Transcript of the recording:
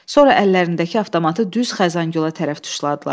Sonra əllərindəki avtomatı düz Xəzəngülə tərəf tuşladılar.